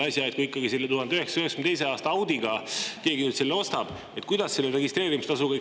Kui keegi ikkagi selle 1992. aasta Audi ostab, kuidas selle registreerimistasuga on?